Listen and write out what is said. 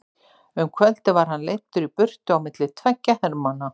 Um kvöldið var hann leiddur í burtu á milli tveggja hermanna.